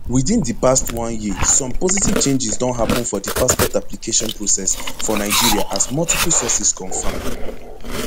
within di past one year some positive changes don happen for di passport application process for nigeria as multiple sources confirm